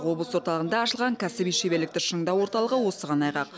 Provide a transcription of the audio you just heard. облыс орталығында ашылған кәсіби шеберлікті шыңдау орталығы осыған айғақ